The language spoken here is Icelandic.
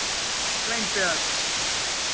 Sveinbjörn